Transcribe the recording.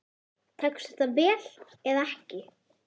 Tekst þetta vel eða ekki?